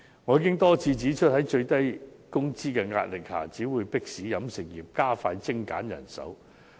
我已多次指出，在最低工資的壓力下，只會迫使飲食業加快精簡人手。